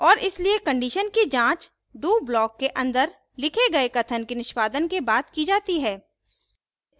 और इसलिए condition की जांच do block के अंदर लिखे गए कथन के निष्पादन के बाद की जाती है